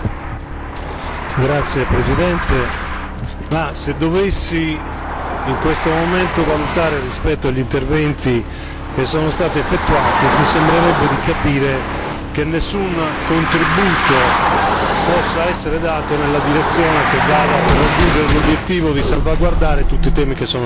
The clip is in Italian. Signor Presidente, onorevoli colleghi, se dovessi in questo momento valutare rispetto agli interventi che sono stati effettuati, mi sembrerebbe di capire che nessun contributo possa essere dato nella direzione di raggiungere l'obiettivo di salvaguardare tutti i temi che sono stati affrontati.